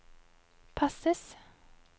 passes